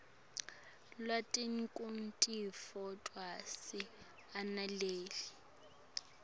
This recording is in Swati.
lwati nekutitfokotisa ananele